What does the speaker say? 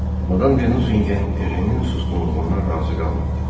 Madam De Nusingen Ejenin susqunluğundan razı qalmadı.